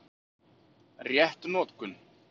Rétt notkun